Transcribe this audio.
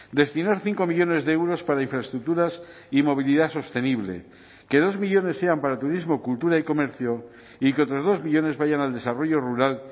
destinar cinco millónes de euros para infraestructuras y movilidad sostenible que dos millónes sean para turismo cultura y comercio y que otros dos millónes vayan al desarrollo rural